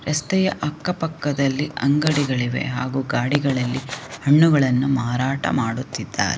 ರಸ್ತೆಯ ಅಕ್ಕ ಪಕ್ಕದಲ್ಲಿ ಅಂಗಡಿಗಳಿವೆ ಹಾಗು ಗಾಡಿಗಳಲ್ಲಿ ಹಣ್ಣುಗಳನ್ನು ಮಾರಾಟ ಮಾಡುತ್ತಿದ್ದಾರೆ.